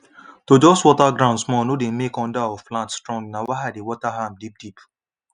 to just water ground small no dey make under of plant strong na why i dey water am deep deep